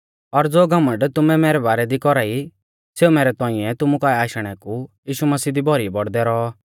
और ज़ो घमण्ड तुमै मैरै बारै दी कौरा ई सेऊ मैरै तौंइऐ तुमु काऐ आशणै कु यीशु मसीह दी भौरी बौड़दै रौऔ